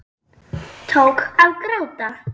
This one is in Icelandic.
Tók að gráta.